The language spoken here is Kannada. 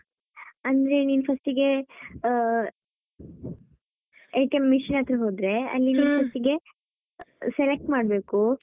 ಅಂದ್ರೆ ನೀನು first ಗೆ ಆ machine ಹತ್ತಿರ ಹೋದ್ರೆ ಅಲ್ಲಿ ನೀನು first ಗೆ select ಮಾಡ್ಬೇಕು.